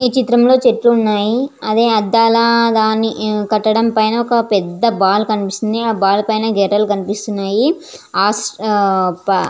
ఈ చిత్రంలో చెట్లు ఉన్నాయి అది అద్దాల దాని పట్టడం పైన ఒక పెద్ద బాల్ కనిపిస్తుంది. ఆ బాల్ పైన గెర్రలు కనిపిస్తున్నాయి ఆ ఉప్ --